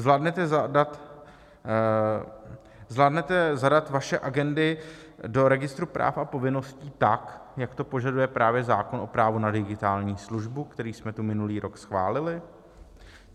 Zvládnete zadat vaše agendy do registru práv a povinností tak, jak to požaduje právě zákon o právu na digitální službu, který jsme tu minulý rok schválili?